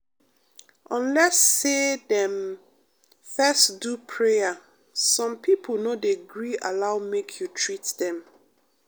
unless say dem fess do prayer some pipo no dey gree allow make you treat dem.